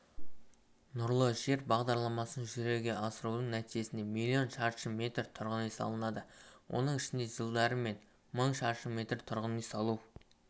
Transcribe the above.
нұрлы жер бағдарламасын жүзеге асырудың нәтижесінде млн шаршы метр тұрғын үй салынады оның ішінде жылдары мың шаршы метр тұрғын үй салу